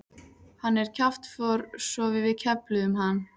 Hann er kjaftfor svo við kefluðum hann.